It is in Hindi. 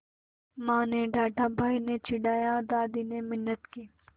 माँ ने डाँटा भाई ने चिढ़ाया दादी ने मिन्नत की